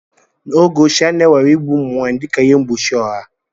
N'oge ochie, a na-ewere igbu ụmụ nwanyị dịka ihe mgbochi ọha.